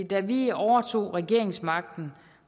da vi overtog regeringsmagten